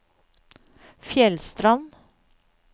Fjellstrand